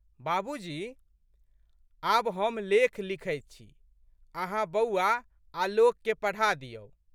बाबूजी, आब हम लेख लिखैत छी, अहाँ बौआ, आलोकके पढ़ा दिऔ।